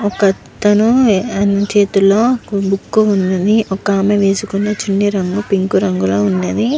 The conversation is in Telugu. ఒక అతని చేతిలో బుక్ ఉంది. ఒక ఆమె వేసుకునే చున్ని రంగు పింక్ కలర్ లో ఉన్నది.